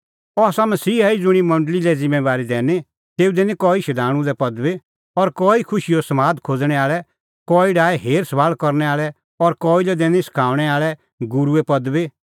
अह आसा मसीहा ई ज़ुंणी मंडल़ी लै ज़िम्मैंबारी दैनी तेऊ दैनी कई लै शधाणूंए पदबी और कई खुशीओ समाद खोज़णैं आल़ै कई डाहै हेरसभाल़ करनै आल़ै और कई लै दैनी सखाऊंणै आल़ै गूरूए पदबी